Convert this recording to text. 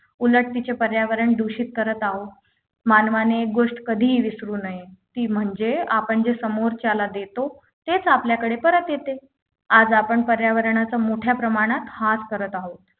उलट तिचे पर्यावरण दूषित करत आहोत मानवाने एक गोष्ट कधीही विसरू नये ती म्हणजे आपण जे समोरच्याला देतो तेच आपल्याकडे परत येते आज आपण पर्यावरणाचा मोठ्या प्रमाणात हास करत आहोत